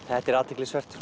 þetta er athyglisvert